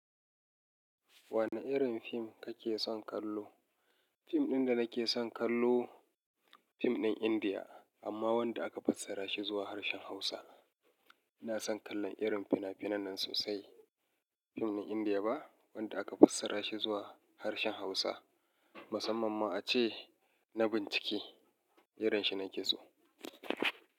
Wani irin fim kake son kallo? Fim ɗin da nake son kallo fim ɗin Indiya amma wanda aka fassara shi zuwa harshen Hausa. Ina son kallon irin fina-finan nan sosai. Fim ɗin Indiya ba wanda aka fassara shi zuwa harshen Hausa musamman ma ace na bincike irin shi nake so.